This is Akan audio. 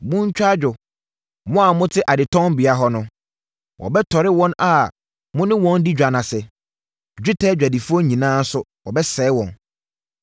Montwa adwo, mo a mote adetɔnbea hɔ no wɔbɛtɔre wɔn a mo ne wɔn di dwa ase, dwetɛ adwadifoɔ nyinaa nso wɔbɛsɛe wɔn.